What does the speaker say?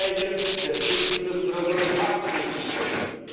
Solche Gespräche der Spitzen müssen Resultate mit sich bringen!